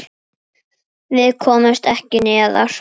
Við komumst ekki neðar.